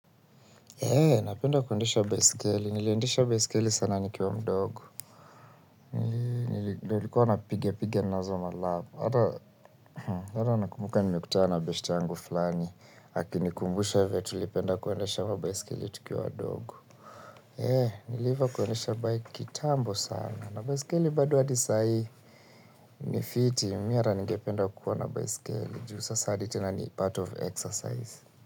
Napenda kuendesha baiskeli, niliendesha baiskeli sana nikiwa mdogo. Ndio nilikuwa napigapiga nazo malap, hata nakumbuka nimekutana na beshte yangu fulani. Akinikumbusha vyenye tulipenda kuendesha mabaiskeli tukiwa wadogo. Niliiva kuendesha bike kitambo sana, na baiskeli bado hadi saa hii. Ni fiti, mimi hata ningependa kuwa na baiskeli, juu sasa hadi tena ni part of exercise.